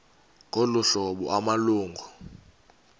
ngolu hlobo amalungu